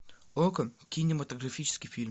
окко кинематографический фильм